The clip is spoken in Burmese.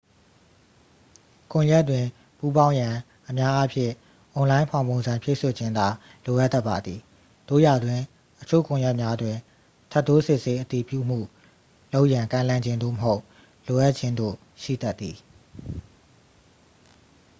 ကွန်ရက်တွင် ပူးပေါင်းရန် အများအားဖြင့် အွန်လိုင်း ဖောင်ပုံစံ ဖြည့်စွက်ခြင်းသာ လိုအပ်တတ်ပါသည် သို့ရာတွင် အချို့ကွန်ရက်များတွင် ထပ်တိုးစစ်ဆေး အတည်ပြုမှု လုပ်ရန် ကမ်းလှမ်းခြင်း သို့မဟုတ် လိုအပ်ခြင်းတို့ ရှိတတ်သည်